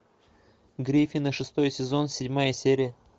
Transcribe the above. гриффины шестой сезон седьмая серия